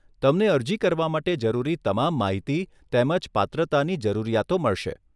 તમને અરજી કરવા માટે જરૂરી તમામ માહિતી તેમજ પાત્રતાની જરૂરિયાતો મળશે.